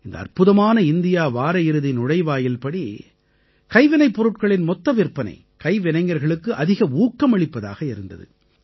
இந்த அற்புதமான இந்தியா வார இறுதி நுழைவாயில்படி கைவினைப் பொருட்களின் மொத்த விற்பனை கைவினைஞர்களுக்கு அதிக ஊக்கமளிப்பதாக இருந்தது